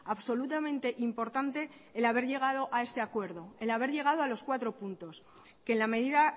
absolutamente importante el haber llegado a este acuerdo el haber llegado a los cuatro puntos que en la medida